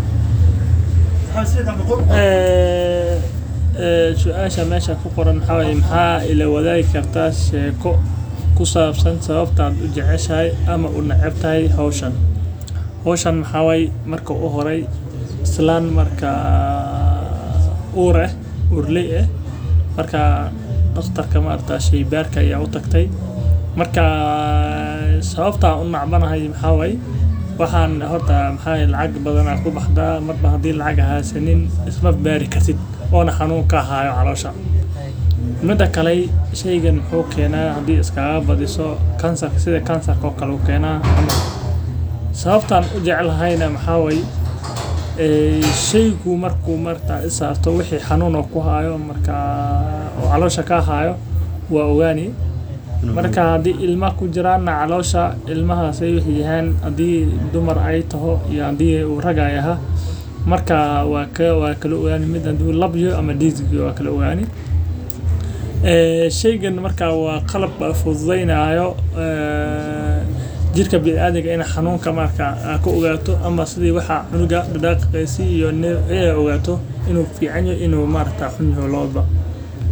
Ee suasha mesha mesha ku qoranaxaa weye maxaa weyw sawabta aa ujeceshahay ama aa unecbantahay hoshan hshan maxaa waye marka uhore daqtrka sheybarka aya utagte mida kale kansatka ayu kenaya sawabta an ujecelahay maxaa waye xanun kasta oo ku hayo ayu kushegi ama hadii u calosha cunug u kujiro ayey ku kala shegi alab ama didhig wuxuu yahay sas waye sawabta an u jecelahay waa qalab fidudeynayo jrka bilaadanka xanunka hayo ama cunuga in u fican yoho iyo in u xunyahay lawadhaba.